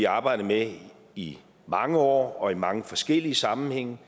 arbejdet med i mange år og i mange forskellige sammenhænge